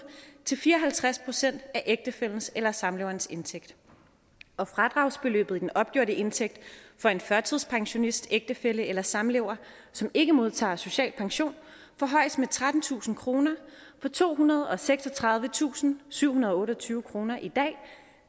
til fire og halvtreds procent af ægtefællens eller samleverens indtægt og fradragsbeløb for den opgjorte indtægt for en førtidspensionists ægtefælle eller samlever som ikke modtager social pension forhøjes med trettentusind kroner fra tohundrede og seksogtredivetusindsyvhundrede og otteogtyve kroner i dag